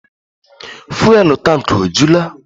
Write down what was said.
Fụ́élú tankị ọ jula?